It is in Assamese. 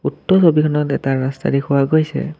উক্ত ছবিখনত এটা ৰাস্তা দেখুওৱা গৈছে।